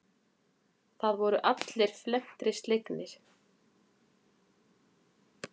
Það voru allir felmtri slegnir.